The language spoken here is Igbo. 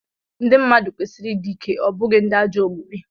ndị mmadụ kwesịrị ịdị ike, ọ bụghị ndị ajọ omume